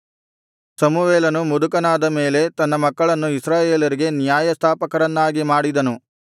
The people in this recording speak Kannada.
ಸಮುವೇಲನು ಮುದುಕನಾದ ಮೇಲೆ ತನ್ನ ಮಕ್ಕಳನ್ನು ಇಸ್ರಾಯೇಲರಿಗೆ ನ್ಯಾಯಸ್ಥಾಪಕರನ್ನಾಗಿ ಮಾಡಿದನು